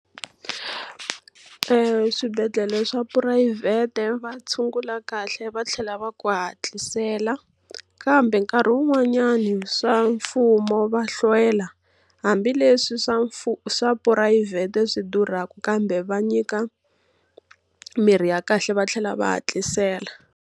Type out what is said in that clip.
Eswibedhlele swa phurayivhete va tshungula kahle va tlhela va ku hatlisela, kambe nkarhi wun'wanyani swa mfumo va hlwela. Hambileswi swa swa phurayivhete swi durhaka kambe va nyika mirhi ya kahle va tlhela va hatlisela.